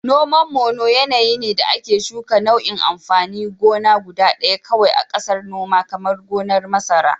Noman Mono yanayi ne da ake shuka nau'in amfanin gona guda ɗaya kawai a ƙasar noma, kamar gonar masara.